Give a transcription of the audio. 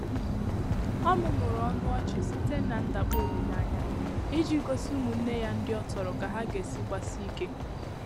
Ọ́ mụ́mụ́rụ̀ ọnụ́ ọchị́ sìté nà ndàkpọ ólílé ányá ìjí gósí ụ́mụ́nnè yá ndị́ ọ tọrọ kà há gà-èsí gbàsíé íké.